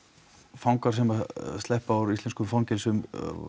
fangar sem að sleppa úr íslenskum fangelsum